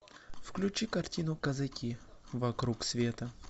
включи картину казаки вокруг света